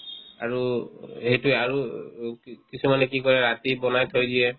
আৰু সেইটোয়ে আৰু উহ্ কি~ কি~ কিছুমানে কি কৰে ৰাতি বনাই থৈ দিয়ে